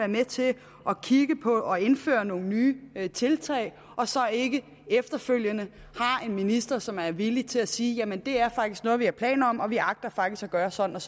med til at kigge på og indføre nogle nye tiltag og så ikke efterfølgende har en minister som er villig til at sige ja det er faktisk noget vi har planer om og vi agter faktisk at gøre sådan